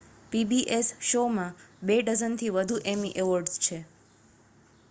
pbs show માં બે dozen થી વધુ એમી અવોર્ડ્સ છે